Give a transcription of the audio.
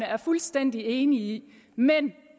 er fuldstændig enig i men